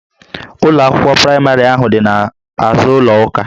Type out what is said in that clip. Ụlọ akwụkwọ praịmarị ahụ dị n'azụ ụlọ ụka